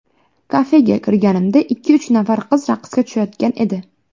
Kafega kirganimda ikki-uch nafar qiz raqsga tushayotgan edi.